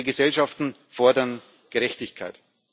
Unsere Gesellschaften fordern Gerechtigkeit.